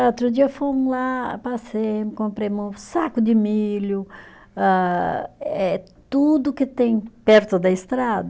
Outro dia fomos lá, passei, comprei um saco de milho ah eh, tudo que tem perto da estrada.